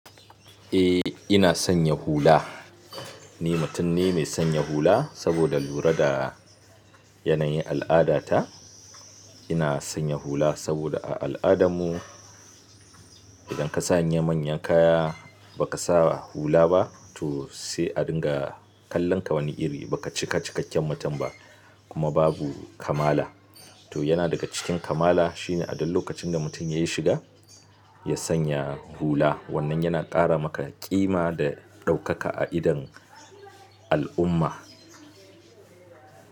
Eh ina sanya hula. Ni mutum ne mai sanya hula saboda lura da yanayin al'ada ta. Ina sanya hula saboda a al'adarmu idan ka sanya manyan kaya ba kasa hula ba to sai a dinga kallon ka wani iri. Baka cika cikakken mutum ba kuma babu kamala. To yana daga cikin kamala shine a duk lokacin da mutum yayi shiga, ya sanya hula wannan yana ƙara maka ƙima da ɗaukaka a idon al'umma.